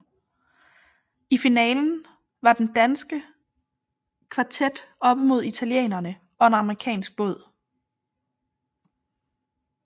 I finalen var den danske kvartet oppe mod italienerne og en amerikansk båd